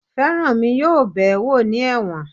Feranmi yóò bẹ̀ẹ́ wò ní ẹ̀wọ̀n